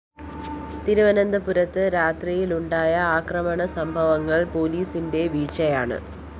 തിരുവനന്തപുരത്ത് രാത്രിയില്‍ ഉണ്ടായ അക്രമസംഭവങ്ങള്‍ പോലീസിന്റെ വീഴ്ചയാണ്